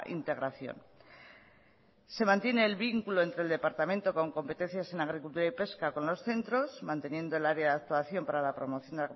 integración se mantiene el vínculo entre el departamento con competencias en agricultura y pesca con lo centros manteniendo el área de actuación para la promoción